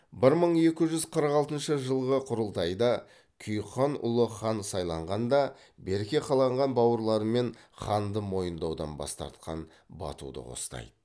бір мың екі жүз қырық алтыншы жылғы құрылтайда күйік хан ұлы хан сайланғанда берке қаланған бауырларымен ханды мойындаудан бас тартқан батуды қостайды